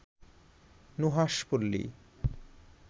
Nuhash Palli